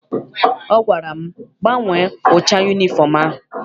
Ọ gwara m, gbanwee ụcha yunifọm ahụ!